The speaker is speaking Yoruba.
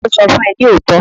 Ta ló sọ fún ẹ ní òótọ́?